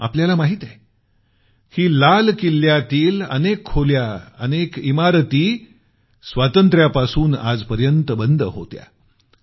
आपल्याया माहित आहे की लाल किल्ल्यात स्वातंत्र्यापासून आजपर्यंत अनेक खोल्या इमारती बंद होत्या